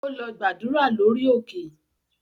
Ó lọ gbàdúrà lórí òkè